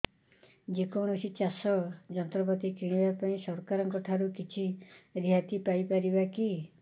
ଯେ କୌଣସି ଚାଷ ଯନ୍ତ୍ରପାତି କିଣିବା ପାଇଁ ସରକାରଙ୍କ ଠାରୁ କିଛି ରିହାତି ପାଇ ପାରିବା କି